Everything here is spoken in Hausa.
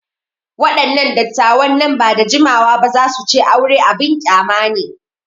Waɗannan dattawan nan ba da jimawa ba za su ce aure abin ƙyama ne.